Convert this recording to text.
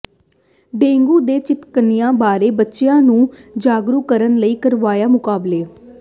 dengue ਤੇ chikungunya ਬਾਰੇ ਬੱਚਿਆਂ ਨੂੰ ਜਾਗਰੂਕ ਕਰਨ ਲਈ ਕਰਵਾਏ ਮੁਕਾਬਲੇ